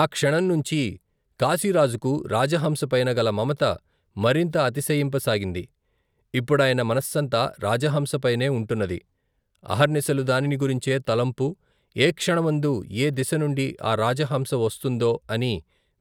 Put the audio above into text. ఆ క్షణంనుంచీ కాశీరాజుకు రాజహంసపైన గల మమత మరింత అతిశయింప సాగింది ఇప్పుడాయన మనస్సంతా రాజహంసపైనే ఉంటున్నది అహర్నిశలు దానిని గురించే తలంపు ఏ క్షణమందు ఏ దిశనుండి ఆ రాజహంస వస్తుందో అని